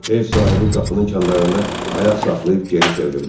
Ev sahibi qapının kandarında ayaq saxlayıb geri çevrildi.